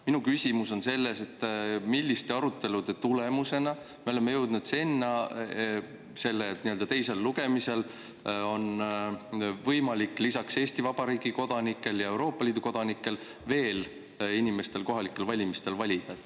Minu küsimus on selles, milliste arutelude tulemusena me oleme jõudnud teisel lugemisel sinna, et lisaks Eesti Vabariigi kodanikele ja Euroopa Liidu kodanikele on võimalik veel inimestel kohalikel valimistel valida.